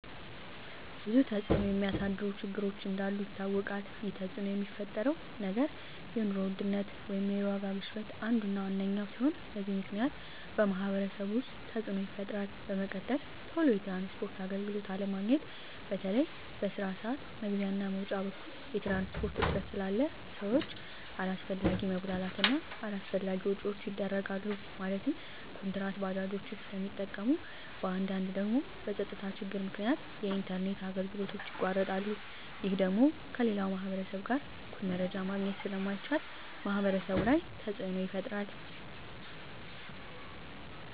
ብዙ ተፅዕኖ የሚያሳድሩ ችግሮች እንዳሉ ይታወቃል ይህ ተፅዕኖ የሚፈጥረው ነገር የኑሮ ውድነት ወይም የዋጋ ግሽበት አንዱ እና ዋነኛው ሲሆን በዚህ ምክንያት በማህበረሰቡ ውስጥ ተፅዕኖ ይፈጥራል በመቀጠል ቶሎ የትራንስፖርት አገልግሎት አለማግኘት በተለይ በስራ ስዓት መግቢያ እና መውጫ በኩል የትራንስፖርት እጥረት ስላለ ሰዎች አላስፈላጊ መጉላላት እና አላስፈላጊ ወጪዎች ይዳረጋሉ ማለትም ኩንትራት ባጃጆችን ስለሚጠቀሙ በአንዳንድ ደግሞ በፀጥታ ችግር ምክንያት የኢንተርኔት አገልግሎቶች ይቋረጣሉ ይህ ደግሞ ከሌላው ማህበረሰብ ጋር እኩል መረጃ ማግኘት ስለማይቻል ማህበረሰቡ ላይ ተፅዕኖ ይፈጥራል